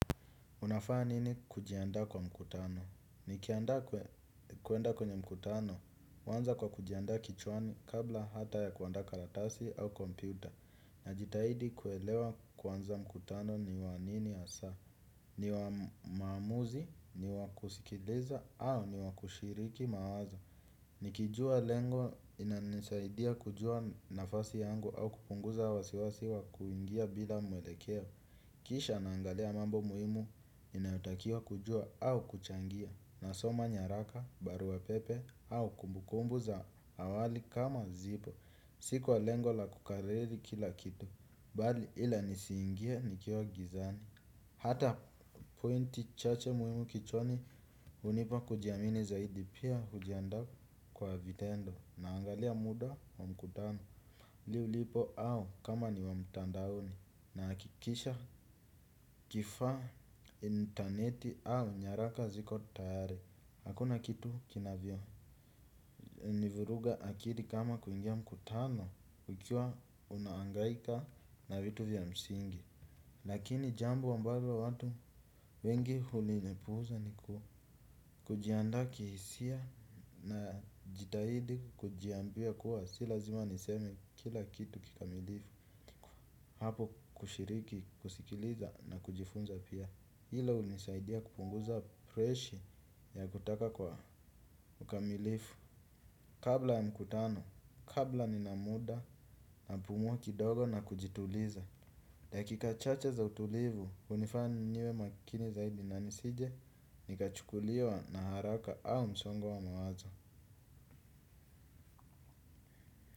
Unafanya nini kujiandaa kwa mkutano? Nikiandaa kuenda kwenye mkutano, huanza kwa kujiandaa kichwani kabla hata ya kuandaa karatasi au kompyuta. Najitahidi kuelewa kwanza mkutano ni wa nini asa. Ni wa maamuzi, ni wa kusikiliza, au ni wa kushiriki mawazo. Nikijua lengo, inanisaidia kujua nafasi yangu au kupunguza wasiwasi wa kuingia bila mwelekeo. Kisha naangalia mambo muhimu inayotakiwa kujua au kuchangia. Nasoma nyaraka, barua pepe au kumbukumbu za awali kama zipo. Si kwa lengo la kukariri kila kitu. Bali ila nisiingie nikiwa gizani. Hata pointi chache muhimu kichwani hunipa kujiamini zaidi pia hujiandaa kwa vitendo. Naangalia muda wa mkutano Li ulipo au kama ni wa mtandaoni. Nahakikisha kifaa intaneti au nyaraka ziko tayari. Hakuna kitu kinavyo nivuruga akiri kama kuingia mkutano nikiwa unahangaika na vitu vya msingi. Lakini jambo ambalo watu wengi hulilipuuza niku kujiandaa kihisia najitahidi kujiambia kuwa si lazima niseme kila kitu kikamilifu. Hapo kushiriki, kusikiliza na kujifunza pia. Hilo hunisaidia kupunguza presha ya kutaka kwa ukamilifu. Kabla ya mkutano, kabla nina muda napumua kidogo na kujituliza. Dakika chache za utulivu, hunifanya niwe makini zaidi na nisije nikachukuliwa na haraka au msongo wa wa mawazo.